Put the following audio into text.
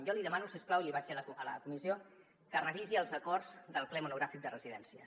jo li demano si us plau i l’hi vaig dir a la comissió que revisi els acords del ple monogràfic de residències